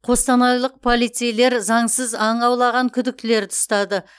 қостанайлық полицейлер заңсыз аң аулаған күдіктілерді ұстады